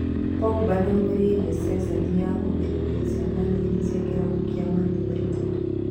Pogba nĩ aumĩrĩire ceceni ya kũgirĩrĩria ciana nini cia kĩrabu kĩa Man united